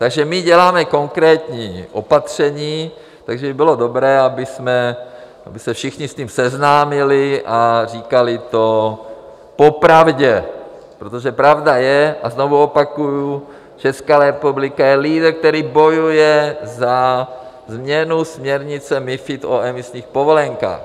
Takže my děláme konkrétní opatření, takže by bylo dobré, aby se všichni s tím seznámili a říkali to popravdě, protože pravda je, a znovu opakuji, Česká republika je lídr, který bojuje za změnu směrnice MoFID o emisních povolenkách.